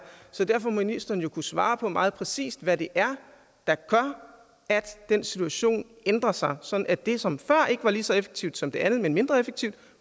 så derfor må ministeren jo kunne svare meget præcist på hvad det er der gør at den situation ændrer sig sådan at det som før ikke var lige så effektivt som det andet men mindre effektivt